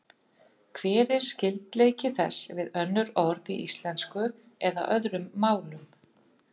Hver er skyldleiki þess við önnur orð í íslensku eða öðrum málum?